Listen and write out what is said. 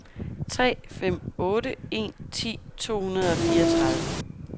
tre fem otte en ti to hundrede og fireogtredive